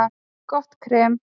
Gott krem